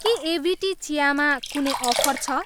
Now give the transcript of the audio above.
के एभिटी चिया मा कुनै अफर छ?